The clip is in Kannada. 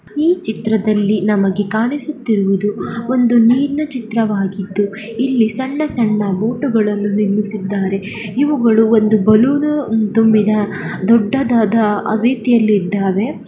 ಈ ಚಿತ್ರದಲ್ಲಿ ನಮಗೆ ಕಾಣುತ್ತಿರುವುದು ಒಂದು ನೀರಿನ ಚಿತ್ರವಾಗಿದ್ದು ಇಲ್ಲಿ ಸಣ್ಣ-ಸಣ್ಣ ಬೋಟುಗಳನ್ನು ನಿರ್ಮಿಸಿದ್ದಾರೆ. ಇವುಗಳು ಒಂದು ಬಲೂನು ತುಂಬಿದ ದೊಡ್ಡದಾದ ರೀತಿಯಲ್ಲಿ ಇದ್ದಾವೆ.